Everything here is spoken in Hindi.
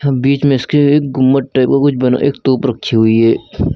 बीच में इसके एक गुंबद टाइप का कुछ बना है एक तोप रखी हुई है।